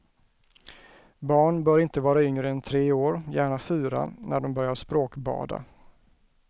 Barn bör inte vara yngre än tre år, gärna fyra, när de börjar språkbada.